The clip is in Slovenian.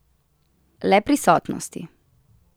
Le prisotnosti.